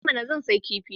I mana! Zan sayi kifi.